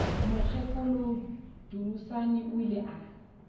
mokgekolo dunusani o ile a